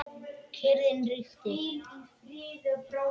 Kyrrðin ríkti.